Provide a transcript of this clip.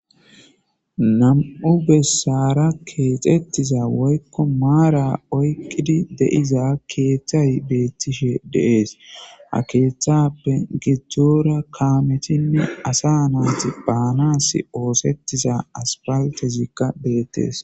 nam'u bessara keexettiza woykko maara oykkidi de7iza keeththay beettishe de'es ha keeththappe gidoora kaametinne asa naati baanas oosettiza asfaltezikka beettees